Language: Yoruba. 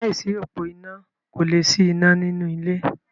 Láìsí òpó iná kò lè sí iná ní inú ilé.